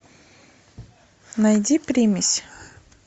найди примесь